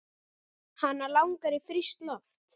Hana langar í frískt loft.